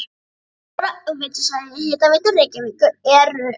Íbúar á veitusvæði Hitaveitu Reykjavíkur eru um